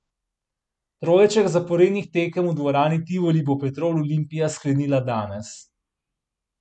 Trojček zaporednih tekem v dvorani Tivoli bo Petrol Olimpija sklenila danes.